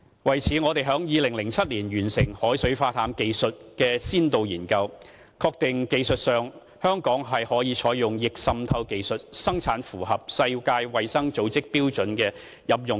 為此，我們於2007年完成海水化淡技術的先導研究，確定香港在技術上可以採用逆滲透技術，生產符合世界衞生組織標準的飲用水。